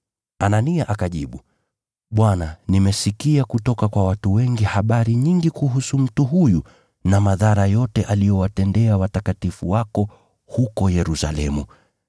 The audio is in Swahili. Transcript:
Anania akajibu, “Bwana, nimesikia kutoka kwa watu wengi habari nyingi kuhusu mtu huyu na madhara yote aliyowatendea watakatifu wako huko Yerusalemu.